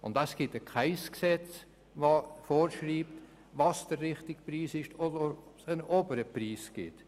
Kein Gesetz schreibt vor, welches der richtige Preis ist und ob es einen oberen Preis gibt.